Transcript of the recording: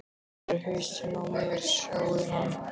Þetta er hausinn á mér, sjáiði hann?